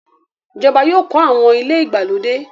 Ìjọba yóò kọ̀ awọn ilẹ̀ igbalodẹ.